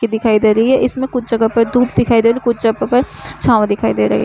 की दिखाई दे रही है और इसमें कुछ जगह पर धूप दिखाई दे रही है कुछ जगह पर छाव दिखाई दे रही है।